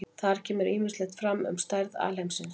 Þar kemur ýmislegt fram um stærð alheimsins.